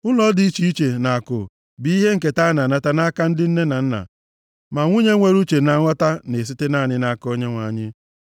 Ụlọ dị iche iche na akụ bụ ihe nketa a na-anata nʼaka ndị nne na nna, ma nwunye nwere uche na nghọta na-esite naanị nʼaka Onyenwe anyị.